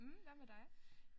Mh hvad med dig?